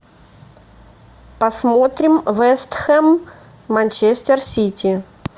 посмотрим вест хэм манчестер сити